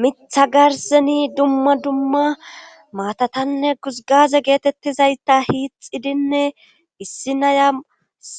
mitha garseni dumma dumma maatatanne guzgaze geetettizayta hiixidinne issi naya